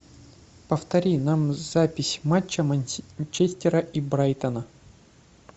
повтори нам запись матча манчестера и брайтона